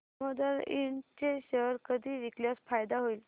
दामोदर इंड चे शेअर कधी विकल्यास फायदा होईल